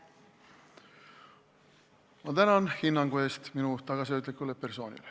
Ma tänan hinnangu eest minu tagasihoidlikule persoonile.